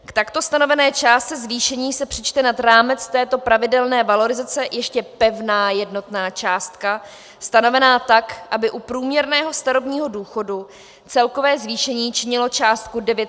K takto stanovené částce zvýšení se přičte nad rámec této pravidelné valorizace ještě pevná jednotná částka stanovená tak, aby u průměrného starobního důchodu celkové zvýšení činilo částku 900 korun.